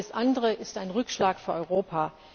Alles andere ist ein Rückschlag für Europa.